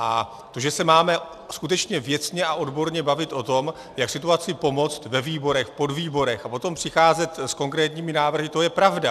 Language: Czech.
A to, že se máme skutečně věcně a odborně bavit o tom, jak situaci pomoci ve výborech, v podvýborech a potom přicházet s konkrétními návrhy, to je pravda.